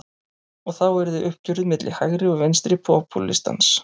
Og þá yrði uppgjörið milli hægri og vinstri popúlistans.